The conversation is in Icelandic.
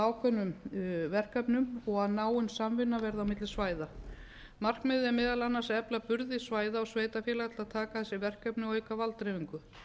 ákveðnum verkefnum og að náin samvinna verði á milli svæða markmiðið er meðal annars að efla burði svæða og sveitarfélaga til að taka að sér verkefni og auka valddreifingu